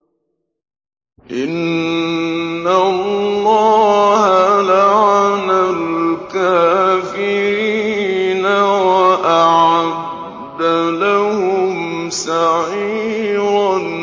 إِنَّ اللَّهَ لَعَنَ الْكَافِرِينَ وَأَعَدَّ لَهُمْ سَعِيرًا